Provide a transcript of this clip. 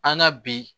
An na bi